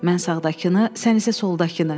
Mən sağdakını, sən isə soldakını.